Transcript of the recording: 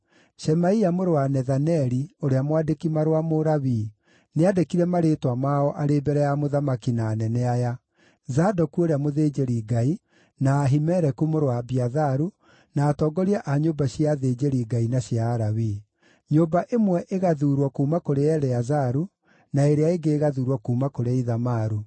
Shemaia mũrũ wa Nethaneli, ũrĩa mwandĩki-marũa Mũlawii, nĩandĩkire marĩĩtwa mao arĩ mbere ya mũthamaki na anene aya: Zadoku ũrĩa-mũthĩnjĩri-Ngai, na Ahimeleku mũrũ wa Abiatharu, na atongoria a nyũmba cia athĩnjĩri-Ngai na cia Alawii. Nyũmba ĩmwe ĩgathuurwo kuuma kũrĩ Eleazaru, na ĩrĩa ĩngĩ ĩgathuurwo kuuma kũrĩ Ithamaru.